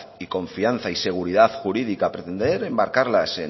y confianza y seguridad jurídica pretender enmarcarlas